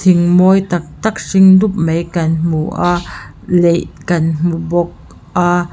thing mawi tak tak hring dup mai kan hmu a leih kan hmu bawk a.